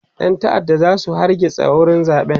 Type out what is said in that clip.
ƴan ta'adda zasu zo su hargitsa wurin zaɓen